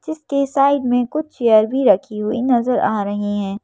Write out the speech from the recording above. जिसके साइड में कुछ चेयर भी रखी हुई नजर आ रही हैं।